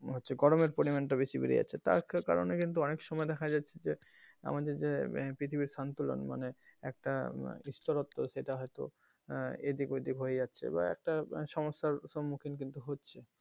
হচ্ছে গরমের পরিমান টা বেশি বেড়ে যাচ্ছে তার কারনে অনেক সময় কিন্তু দেখা যাচ্ছে যে আমাদের যে পৃথিবীর সন্তুলন মানে একটা বিস্তরত্ত সেটা হয়তো আহ এদিক ওদিক হয়ে যাচ্ছে এবার একটা সমস্যার সম্মুখীন কিন্তু হচ্ছে,